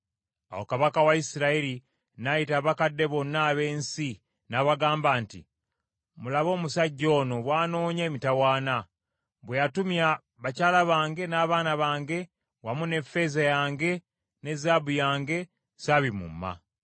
Awo kabaka wa Isirayiri n’ayita abakadde bonna ab’ensi, n’abagamba nti, “Mulabe omusajja ono bw’anoonya emitawaana! Bwe yatumya bakyala bange n’abaana bange wamu ne ffeeza yange ne zaabu yange, sabimumma.”